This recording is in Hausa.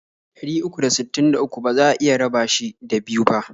Ɗari uku da sittin da uku baza a iya raba shi da biyu bah.